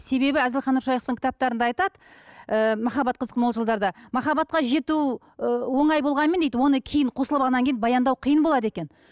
себебі әзілхан нұршайықовтың кітаптарында айтады ы махаббат қызық мол жылдарда махаббатқа жету ы оңай болғанмен дейді оны кейін қосылып алғаннан кейін баяндау қиын болады екен